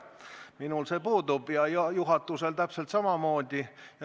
Minul see puudub ja juhatusel täpselt samamoodi.